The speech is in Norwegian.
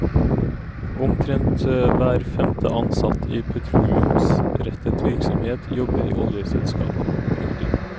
Omtrent hver femte ansatt i petroleumsrettet virksomhet jobber i oljeselskap. punktum